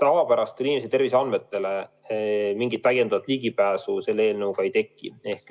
Tavapärast inimese terviseandmetele mingit täiendavat ligipääsu selle eelnõuga ei teki.